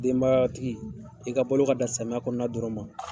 Denbayatigi i ka bolo ka dan samiya kɔnɔna dɔrɔn ma